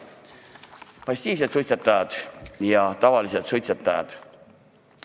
Passiivsed suitsetajad ja tavalised suitsetajad!